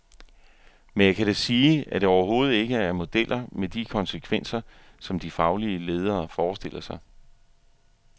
Men jeg kan da sige, at det overhovedet ikke er modeller med de konsekvenser, som de faglige ledere forestiller sig.